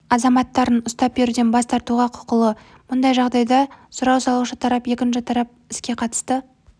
азаматтарын ұстап беруден бас тартуға құқылы мұндай жағдайда сұрау салушы тарап екінші тарапқа іске қатысты